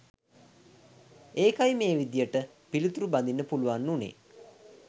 ඒකයි මේ විදියට පිලිතුරු බඳින්න පුළුවන් වුනේ